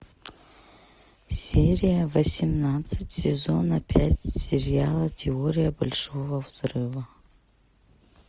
серия восемнадцать сезона пять сериала теория большого взрыва